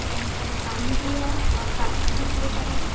बहोत सारे पानी भी है और गाछी भी बहोत सारा है।